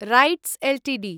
RITES Ltd